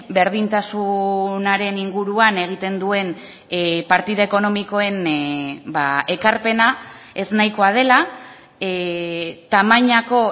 berdintasunaren inguruan egiten duen partida ekonomikoen ekarpena eznahikoa dela tamainako